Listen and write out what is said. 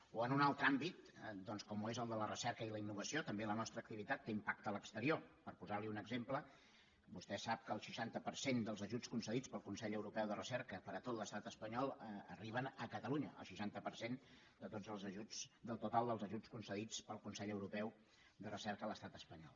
o en un altre àmbit com ho és el de la recerca i la innovació també la nostra activitat té impacte a l’exterior per posar li un exemple vostè sap que el seixanta per cent dels ajuts concedits pel consell europeu de recerca per a tot l’estat espanyol arriben a catalunya el seixanta per cent del total dels ajuts concedits pel consell europeu de recerca a l’estat espanyol